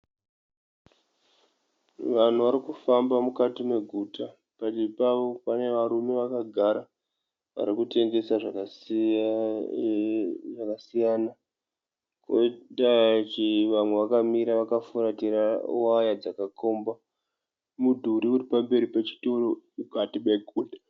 Vanhu varikufamba mukati meguta. Padivi pavo pane varume vakagara varikutengesa zvakasiyana. Koita vamwe vakamira vakafuratira waya dzakakomba mudhuri uri pamberi pechitoro mukati meguta.